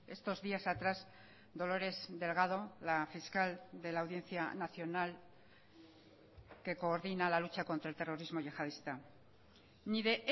estos días atrás dolores delgado la fiscal de la audiencia nacional que coordina la lucha contra el terrorismo yihadista ni de